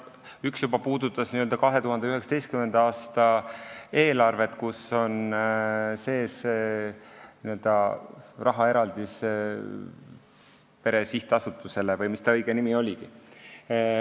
Üks puudutas juba 2019. aasta eelarvet, kus on sees rahaeraldis pere sihtasutusele või mis ta õige nimi oligi.